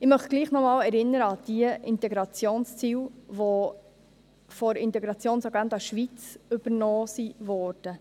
Ich möchte doch noch einmal an die Integrationsziele erinnern, welche aus der Integrationsagenda Schweiz übernommen wurden.